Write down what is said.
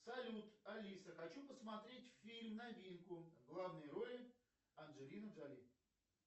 салют алиса хочу посмотреть фильм новинку в главной роли анджелина джоли